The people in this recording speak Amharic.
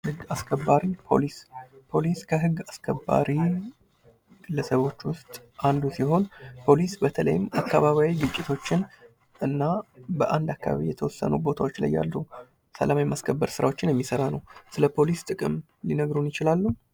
ህግ አስከባሪ ፖሊስ ፖሊስ ከህግ አስከባሪ ግለሰቦች ውስጥ አንዱ ሲሆን ፖሊስ በተለይም አካባቢያዊ ግጭቶችን እና በአንድ አካባቢ የተወሰኑ ቦታዎች ላይ ያለው ሰላም የማስከበር ስራዎችን የሚሰራ ነው። ስለፖሊስ ጥቅም ሊነግሩን ይችላሉ?